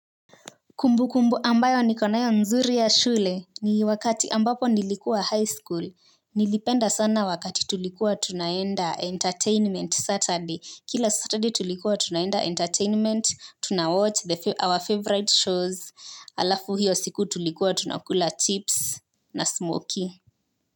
Kumbu kumbu ambayo niko nayo nzuri ya shule ni wakati ambapo nilikuwa high school nilipenda sana wakati tulikuwa tunaenda entertainment Saturday kila Saturday tulikuwa tunaenda entertainment tunawatch our favourite shows alafu hiyo siku tulikuwa tunakula chips na smokey.